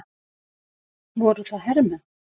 Voru það hermenn?